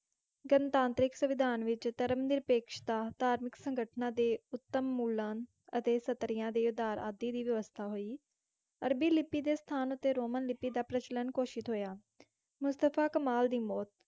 ਗਣਤਾਂਤਰਿਕ ਸੰਵਿਧਾਨ ਵਿੱਚ ਧਰਮ-ਨਿਰਪੇਕਸ਼ਤਾ, ਧਾਰਮਿਕ ਸੰਗਠਨਾਂ ਦੇ ਉਤਮੂਲਨ ਅਤੇ ਸਤਰੀਆਂ ਦੇ ਉੱਧਾਰ ਆਦਿ ਦੀ ਵਿਵਸਥਾ ਹੋਈ। ਅਰਬੀ ਲਿਪੀ ਦੇ ਸਥਾਨ ਉੱਤੇ ਰੋਮਨ ਲਿਪੀ ਦਾ ਪ੍ਰਚਲਨ ਘੋਸ਼ਿਤ ਹੋਇਆ। ਮੁਸਤਫਾ ਕਮਾਲ ਦੀ ਮੌਤ